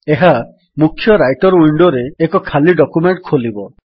ଏହା ମୁଖ୍ୟ ରାଇଟର୍ ୱିଣ୍ଡୋରେ ଏକ ଖାଲି ଡକ୍ୟୁମେଣ୍ଟ୍ ଖୋଲିବ